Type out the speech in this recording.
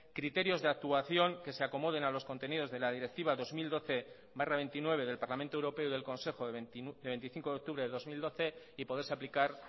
criterios de actuación que se acomoden a los contenidos de la directiva dos mil doce barra veintinueve del parlamento europeo y consejo de veinticinco de octubre del dos mil doce y poderse aplicar